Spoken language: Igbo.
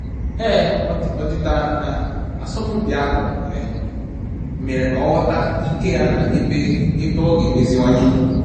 Ọdịda na asọmpi ahụ mere ka ọ ghọta ike ya na ebe ebe ọ ga emeziwanye